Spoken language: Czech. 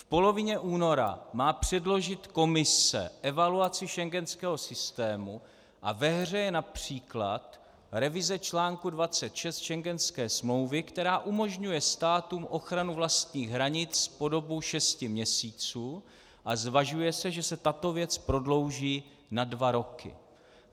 V polovině února má předložit Komise evaluaci schengenského systému a ve hře je například revize článku 26 schengenské smlouvy, která umožňuje státům ochranu vlastních hranic po dobu šesti měsíců, a zvažuje se, že se tato věc prodlouží na dva roky.